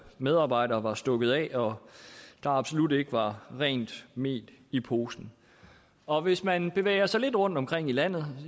medarbejdere var stukket af og der absolut ikke var rent mel i posen og hvis man bevæger sig lidt rundtomkring i landet